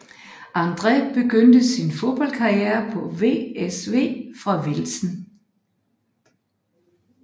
André begyndte sin fodboldkarriere på VSV fra Velsen